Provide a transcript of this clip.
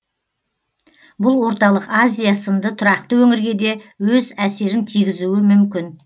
бұл орталық азия сынды тұрақты өңірге де өз әсерін тигізуі мүмкін